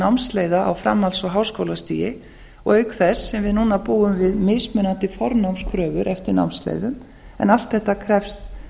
námsleiða á framhalds og háskólastigi og auk þess sem við núna búum við mismunandi fornámskröfur eftir námsleiðum en allt þetta krefst